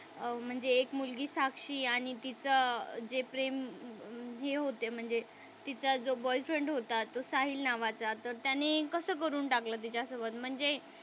म्हणजे एक मुलगी साक्षी आणि तिचा जे प्रेम हे होत म्हणजे तिचा जो बॉयफ्रेंड होता तो साहिल नावाचा तर त्याने कस करून टाकलं तिच्यासोबत म्हणजे,